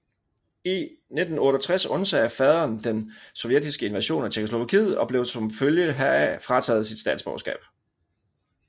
I 1968 undsagde faderen den sovjetiske invasion af Tjekkoslovakiet og blev som følge heraf frataget sit statsborgerskab